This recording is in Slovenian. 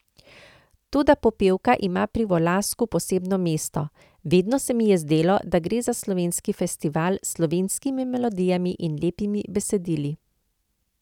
Toda Popevka ima pri Volasku posebno mesto: "Vedno se mi je zdelo, da gre za slovenski festival s slovenskimi melodijami in lepimi besedili.